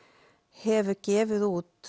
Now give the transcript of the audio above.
hefur gefið út